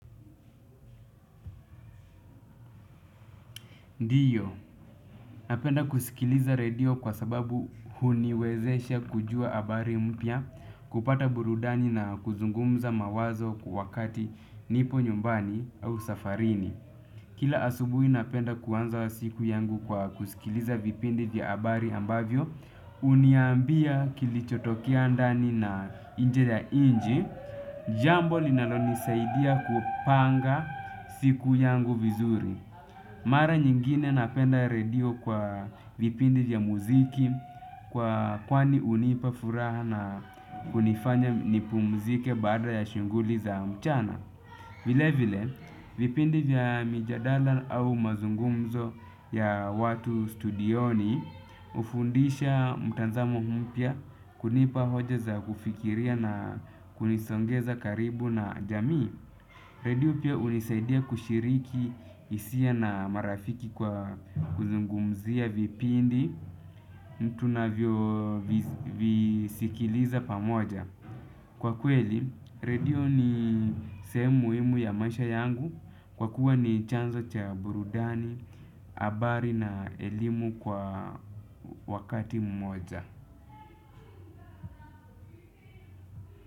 Ndiyo, napenda kusikiliza redio kwasababu huniwezesha kujua habari mpya, kupata burudani na kuzungumza mawazo wakati nipo nyumbani au safarini. Kila asubuhi napenda kuanza siku yangu kwa kusikiliza vipindi vya habari ambavyo, huniambia kilichotokea ndani na nje ya nchi, jambo linalonisaidia kupanga siku yangu vizuri. Mara nyingine napenda redio kwa vipindi vya muziki kwa kwani hunipa furaha na kunifanya nipumzike baada ya shughuli za mchana. Vile vile, vipindi vya mijadala au mazungumzo ya watu studioni hufundisha mtazamo mpya, kunipa hoja za kufikiria na kunisogeza karibu na jamii. Redio pia hunisaidia kushiriki hisia na marafiki kwa kuzungumzia vipindi mtu ninavyovisikiliza pamoja. Kwa kweli, redio ni sehemu muhimu ya maisha yangu kwa kuwa ni chanzo cha burudani, habari na elimu kwa wakati mmoja.